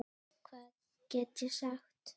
Hvað get ég sagt.